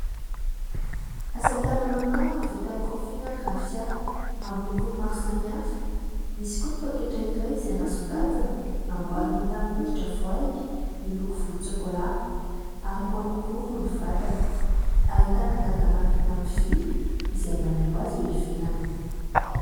Asa tanana maro vita amin'ny rofia na ny rafia amin'ny lokony maro samihafa. Misy koa ny pôketra iray izay nasongadina, namboarina tamin'ny hoditra voay, miloko volontsokola ary marokoroko ny vatany ; ahitana "gadenas" vita amin'ny vy izay manaingo azy eo ivelany.